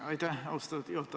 Aitäh, juhataja!